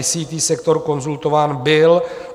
ICT sektor konzultován byl.